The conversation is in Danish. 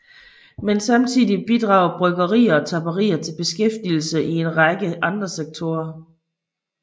Men samtidig bidrager bryggerier og tapperier til beskæftigelsen i en række andre sektorer